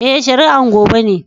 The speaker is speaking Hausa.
Eh, shari'an gobe ne.